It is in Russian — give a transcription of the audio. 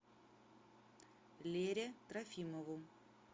лере трофимову